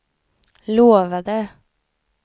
lovade